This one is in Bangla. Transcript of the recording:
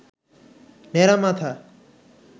ন্যাড়া মাথা